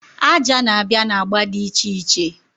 Aja na-abịa na agba dị iche iche.